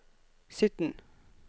sytten